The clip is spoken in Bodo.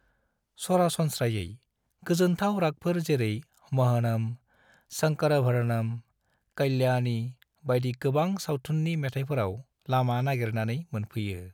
सरासनस्रायै, गोजोनथाव रागफोर जेरै मोहनम, शंकरभरणं, कल्याणी, बायदि गोबां सावथुननि मेथाइफोराव लामा नागेरनानै मोनफैयो।